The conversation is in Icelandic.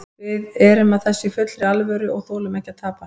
Við erum að þessu í fullri alvöru og við þolum ekki að tapa.